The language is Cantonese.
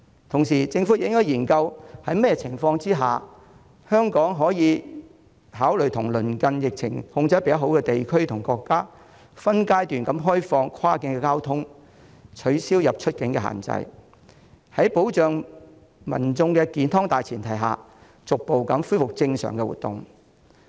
同時，政府亦應該研究在甚麼情況下香港可以考慮對疫情較受控的鄰近地區和國家分階段開放跨境交通，取消出入境限制，在保障民眾健康的大前提下逐步恢復正常活動。